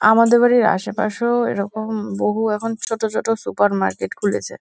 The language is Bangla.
আমাদের বাড়ির আশেপাশেও এরকম বহু এখন ছোট ছোট সুপার মার্কেট খুলেছে ।